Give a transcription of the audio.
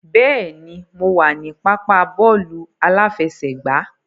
Bẹ́ẹ̀ni, mo wà ní pápá bọ́ọ̀lù aláfẹsẹ̀gbá.